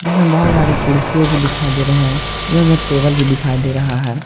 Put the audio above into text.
जिसमे बहुत सारी कुर्सि भी दिखाई दे रहें हैएवं एक टेबल भी दिखाई दे रहा है।